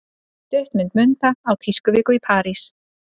Stuttmynd Munda á tískuviku í París